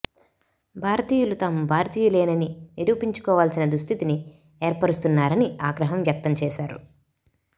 భారతీయులు తాము భారతీయులేనని నిరూపించుకోవాల్సిన దుస్థితిని ఏర్పరస్తున్నారని ఆగ్రహం వ్యక్తం చేసారు